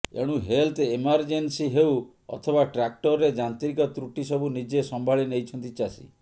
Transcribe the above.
ଏଣୁ health emergency ହେଉ ଅଥବା ଟ୍ରାକ୍ଟରରେ ଯାନ୍ତ୍ରିକ ତ୍ରୁଟି ସବୁ ନିଜେ ସମ୍ଭାଳି ନେଇଛନ୍ତି ଚାଷୀ